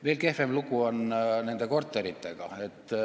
Veel kehvem lugu on nende korteritega.